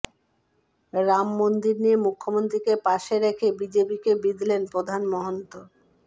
রামমন্দির নিয়ে মুখ্যমন্ত্রীকে পাশে রেখেই বিজেপিকে বিঁধলেন প্রধান মহন্ত